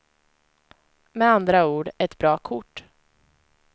Med andra ord ett bra kort.